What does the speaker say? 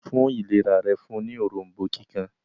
fún ìlera rẹ̀ fún ní Òrombó kíkan